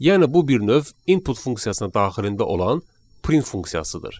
Yəni bu bir növ "input" funksiyasının daxilində olan "print" funksiyasıdır.